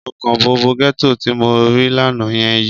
Ọkàn bọ̀bọ́ gẹ́tò tí mo rí lánàá yẹn yi.